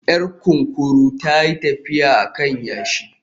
Yar kunkuru ta yi tafiya a kan yashi